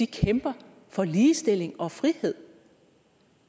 kæmper for ligestilling og frihed